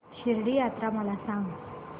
शिर्डी यात्रा मला सांग